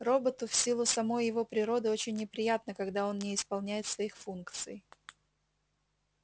роботу в силу самой его природы очень неприятно когда он не исполняет своих функций